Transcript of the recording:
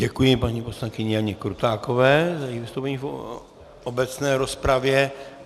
Děkuji paní poslankyni Janě Krutákové za její vystoupení v obecné rozpravě.